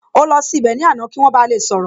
Ó lọ sí ibẹ̀ ní àná kí wọ́n ba lè sọ̀rọ̀